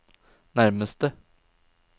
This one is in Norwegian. nærmeste